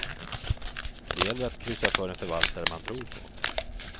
Det gäller att kryssa för en förvaltare man tror på.